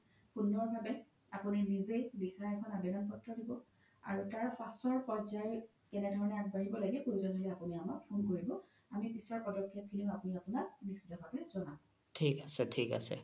সুন্দৰ ভাৱে আপোনি নিজে লিখা এখন আবেদ্ন পত্ৰ দিব আৰু তাৰ পাছৰ পৰ্জাই কেনেধৰনে আগবাঢ়িব লাগে প্ৰয়োজ্ন হ'লে আমাক phone কৰিব আমি পিছৰ পদ্খে আপোনি আপোনাক নিশ্চিত ভাৱে জ্নাব